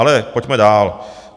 Ale pojďme dál.